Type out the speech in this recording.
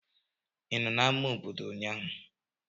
Ị nọ na ama obodo ụnyahụ?